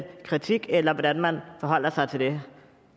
kritik eller hvordan man forholder sig til det